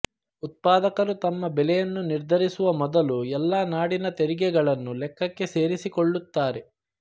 ಉತ್ಪಾದಕರು ತಮ್ಮ ಬೆಲೆಯನ್ನು ನಿರ್ಧರಿಸುವ ಮೊದಲು ಎಲ್ಲಾ ನಾಡಿನ ತೆರಿಗೆಗಳನ್ನು ಲೆಕ್ಕಕ್ಕೆ ಸೇರಿಸಿಕೊಳ್ಳುತ್ತಾರೆ